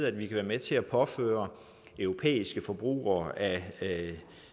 at vi kan være med til at påføre europæiske forbrugere af